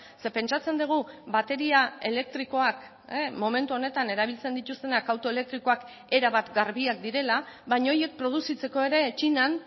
ze pentsatzen dugu bateria elektrikoak momentu honetan erabiltzen dituztenak auto elektrikoak erabat garbiak direla baina horiek produzitzeko ere txinan